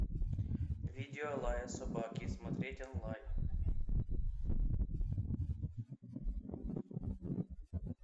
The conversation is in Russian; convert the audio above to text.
видео лая собаки смотреть онлайн